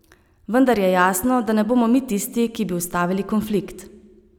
Vendar je jasno, da ne bomo mi tisti, ki bi ustavili konflikt.